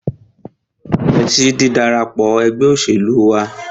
Ṣé o nífẹsí dídarapọ̀ ẹgbẹ́ òṣèlú wa?